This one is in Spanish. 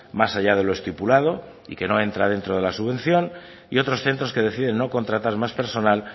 más allá de lo estipulado y que no entra dentro de la subvención y otros centros que deciden no contratar más personal